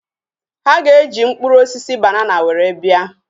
Ha ga-eji mkpụrụ osisi banana were bịa